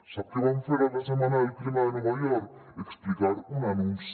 sap què van fer a la setmana del clima de nova york explicar un anunci